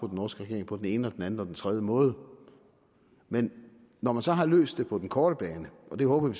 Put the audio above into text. norske regering på den ene eller den tredje måde men når man så har løst det på den korte bane og det håber vi